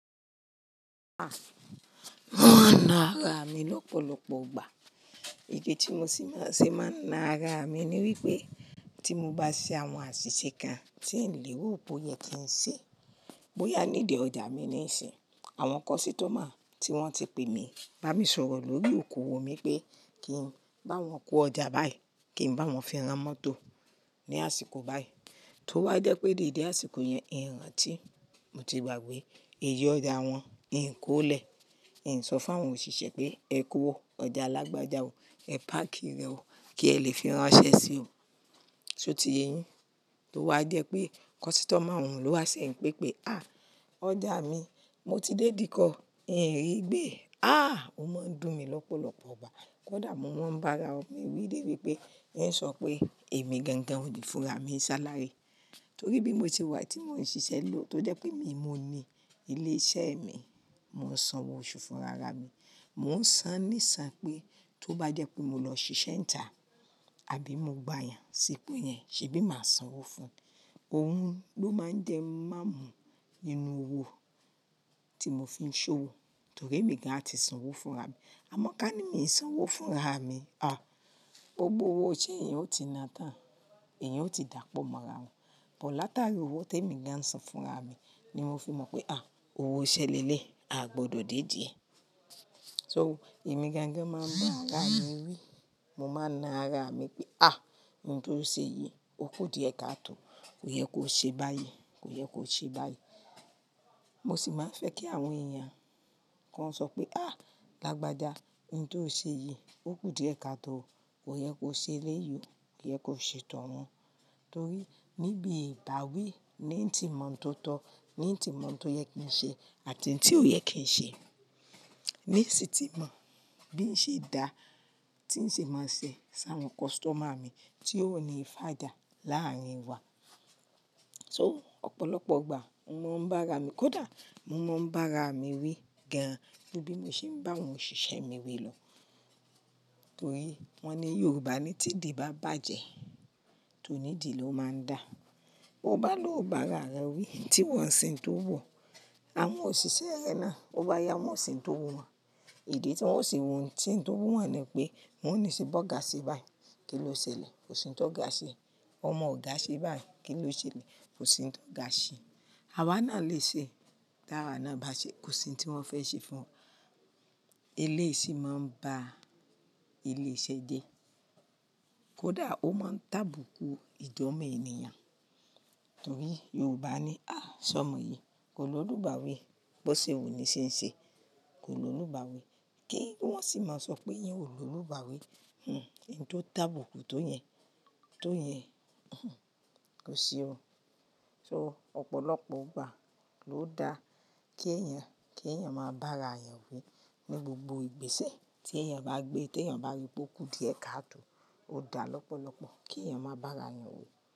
A, wọ́n wa na ara mi lọ́pọ̀lọpọ̀ ìgbà. Èdè tí mo ṣì máa ń ṣe máa ń na ara mi ni wípé tí mo bá ṣe àwọn àṣìṣe kan tí ń lèro po yẹn kí n ṣe. Bóyá nídi ọjà mi ni ísinyi, àwọn kọ́sítọ́mà tí wọ́n ti pè mí, bá mi sọ̀rọ̀ lórí òkòwò mi pé kí n bá wọn kó ọjà báyìí, kí n bá wọn fi rán mọ́tò ní àsìkò báyìí. Tó bá jẹ́ pé dede àsìkò yẹn, ìrántí, mo ti gbàgbé èyí ọjà wọn, n kólẹ̀. N sọ fún àwọn òṣìṣẹ́ pé ẹ kó o, ọjà lágbàja o, ẹ páàkì rẹ o kí ẹ lè fi rán ṣẹ sí o. So tí yeyín tó wá jẹ́ pé kọ́sítọ́mà ọ̀hun lo wá sẹ́ n pé pé, à ọjà mi, mo ti dé ìdíkọ̀, n rí gbé. À ó máa ń dùn mí lọ́pọ̀lọpọ̀ ìgbà. Kódà mo mọ́n bá ara ọ mi wí débi pé n sọ pé èmi gangan ònì fúnra mi ṣalári. Torí bí mo ti wà tí mò ń ṣiṣẹ́ lò tó jẹ́ pé emi mo ni ilé iṣẹ́ mi, mò ń sanwó oṣù fúnra ara mi. Mò ń san níṣan pé tó bá jẹ́ pé mo lọ ṣiṣẹ́ ńtà àbí mo gba èèyàn sípò yẹn ṣe bí màá sanwó fún un? Òun ló máa ń jẹ́ máa mú inú owó tí mo fi ń ṣowó torí èmi gan à ti sanwó fúnra mi. Amọ̀ ká ní mi ò sanwó fúnra mi, à gbogbo owó iṣẹ́ yẹn ó ti na tán, èyàn ó ti dàpọ̀ mọ́ra wọn. Ọ̀ láta rí owó tí èmi gan san fúnra mi ni mo fi mọ̀ pé à owó iṣẹ́ leléyi, a gbọdọ̀ dédì ẹ́. So èmi gangan máa ń bá ara mi wí, mo máa na ara mi pé à ohun tó ṣe yìí, ó kù díẹ̀ káàtò, kò yẹ kó ṣe báyìí, kò yẹ kó ṣe báyìí. Mo sì máa ń fẹ́ kí àwọn èèyàn kan sọ pé à lágbájá ohun tó ṣe yìí, ó kù díẹ̀ káàtò, kò yẹ kó ṣe leyìn o, kò yẹ kó ṣe tọ̀ wọn. Torí níbi ìtàwí ni ń ti mọ̀ tó tọ́, ni ń ti mọ̀ ohun tó yẹ kí n ṣe àti ohun tí ò yẹ kí n ṣe. Níṣe tí mọ̀ bí ń ṣe dá, tí ń ṣe máa ń ṣe sí àwọn kọ́sítọ́mà mi tí ó ní fàjà láàrin wa. So ọ̀pọ̀lọpọ̀ ìgbà mo máa ń bá ara mi, kódà mo máa ń bá ara mi wí gan, bí mo ṣe ń bá àwọn òṣìṣẹ́ mi wí lọ. Torí wọ́n ni Yorùbá ni tí di bá bàjẹ́, tònídi ló máa ń dà. Ó bá lò bá ara rẹ wí tí wọn ń ṣe tó wuò, àwọn òṣìṣẹ́ rẹ náà bó bá yá wọn o ṣe n tó wù wọ́n. Idi tí wọ́n ó ṣe ùn se ń tó wù wọ́n ni pé wọ́n ò ní ṣe bọ́ga ṣe báyìí, kí ló ṣe lè? Kò sì ń tọ́ ga ṣe. Ọmọ òga ṣe báyìí, kí ló ṣe lè? Kò sì ń tọ́ ga ṣe. Awá náà lè ṣe, tára náà bá ṣe kò sì ohun tí wọ́n fẹ́ ṣe fún ẹ. Eléyìí sì máa ń ba ilé iṣẹ́ jẹ́. Kódà ó máa ń tàbukù ìjọ̀mọ́ enìyàn. Torí Yorùbá ni à sọ ọmọ yìí, kò ló lùbáwí, bó ṣe wu ní ṣe ń ṣe, kò ló lùbáwí. Kí wọ́n sì máa sọ pé ìyẹn ò ló lùbáwí, hm, ohun tó tàbukù tó yẹn, tó yẹn, hm, kò sí o. So ọ̀pọ̀lọpọ̀ ìgbà ló da kí eyàn, kí eyàn máa bá ara rẹ̀ wí ní gbogbo ìgbésẹ̀ tí ẹ̀yàn bá gbé, tí ẹ̀yàn bá rí pé ó kù díẹ̀ káàtò, ó dà lọ́pọ̀lọpọ̀ kí ẹ̀yàn máa bá ara rẹ̀ wí.